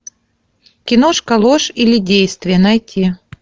киношка ложь или действие найти